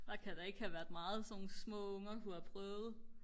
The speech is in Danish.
der kan da ikke have været meget sådan nogle små unger kunne have prøvet